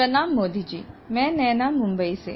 प्रणाम मोदी जी मैं नैना मुंबई से